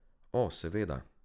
O, seveda.